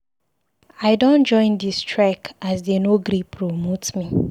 I don join di strike as dey no gree promote me.